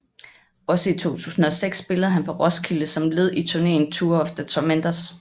Også i 2006 spillede han på Roskilde som led i turneen Tour of the Tormentors